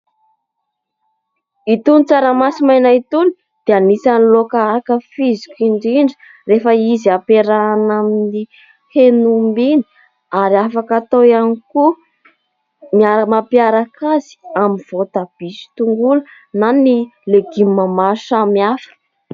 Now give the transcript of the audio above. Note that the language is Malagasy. Itony tsaramaso maina itony dia anisany laoka ankafiziko indrindra rehefa izy hampiarahina amin'ny hen'omby iny ary afaka atao ihany koa ny mampiaraka azy amin'ny voatabia sy tongolo na ny legioma samihafa.